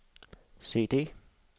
CD